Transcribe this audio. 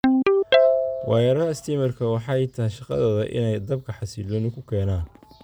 Wayaraxa stiimarka waxay tahy shaqdodha inay dabka xasiloni kukenan.